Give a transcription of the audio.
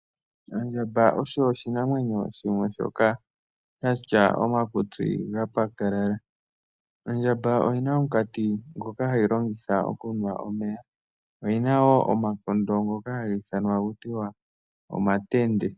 Ondjamba osho oshinamwenyo shimwe shoka shatya omakutsi ga pakalala. Ondjamba oyina omunkati ngoka hayi longitha okunwa omeya, oyina woo omakondo ngoka haga ithanwa taku tiwa Omatende.